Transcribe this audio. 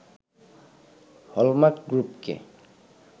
hallmark গ্রুপকে